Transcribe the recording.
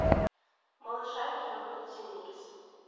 малышарики роберта земекиса